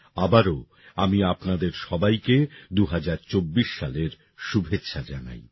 আবারও আমি আপনাদের সবাইকে ২০২৪ সালের শুভেচ্ছা জানাই